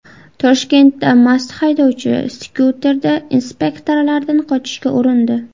Toshkentda mast haydovchi skuterda inspektorlardan qochishga urindi.